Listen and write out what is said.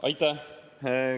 Aitäh!